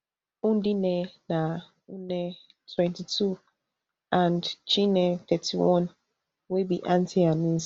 ndinne na nne twenty-two and chinne thirty-one wey be aunty and niece